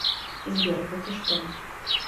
сбер да ты что